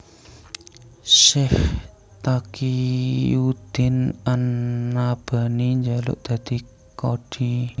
Syaikh Taqiyuddin an Nabhani njaluk dadi qadhi